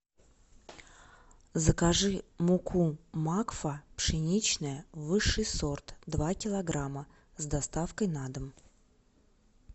закажи муку макфа пшеничная высший сорт два килограмма с доставкой на дом